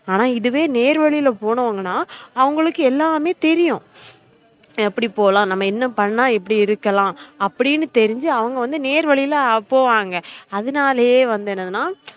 ஆனா இதுவே நேர் வழில போனவுங்கனா அவுங்களுக்கு எல்லாமே தெரியும் எப்டி போலாம் நம்ம என்ன பன்ன இப்டி இருக்கலாம் அப்டினு தெறின்சு அவுங்க வந்து நேர்வழில போவாங்க அதுனாலயே வந்து என்னதுனா